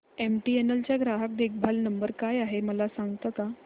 MTNL चा ग्राहक देखभाल नंबर काय आहे मला सांगता का